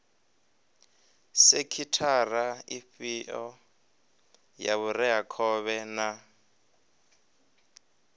sekhithara ifhio ya vhureakhovhe na